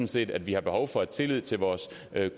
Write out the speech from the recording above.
set at vi har behov for tillid til vores